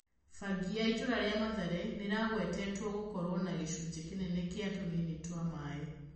Bangi ya itũra rĩa Mathare nĩĩragwetwo gũkorwo na gĩcunjĩ kĩnene kĩa tũnini twa mai.